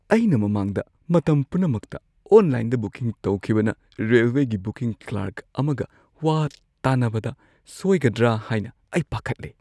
ꯑꯩꯅ ꯃꯃꯥꯡꯗ ꯃꯇꯝ ꯄꯨꯝꯅꯃꯛꯇ ꯑꯣꯟꯂꯥꯏꯟꯗ ꯕꯨꯀꯤꯡ ꯇꯧꯈꯤꯕꯅ, ꯔꯦꯜꯋꯦꯒꯤ ꯕꯨꯀꯤꯡ ꯀ꯭ꯂꯔꯛ ꯑꯃꯒ ꯋꯥ ꯇꯥꯅꯕꯗ ꯁꯣꯏꯒꯗ꯭ꯔꯥ ꯍꯥꯏꯅ ꯑꯩ ꯄꯥꯈꯠꯂꯦ ꯫